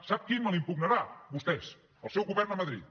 sap qui me la impugnarà vostès el seu govern a madrid